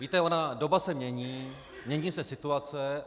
Víte, ona doba se mění, mění se situace.